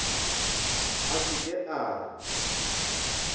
a se ke a re